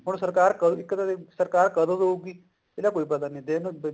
ਹੁਣ ਸਰਕਾਰ ਇੱਕ ਤਾਂ ਸਰਕਾਰ ਕਦੋਂ ਦੁਗੀ ਇਹਦਾ ਕੋਈ ਪਤਾ ਨੀ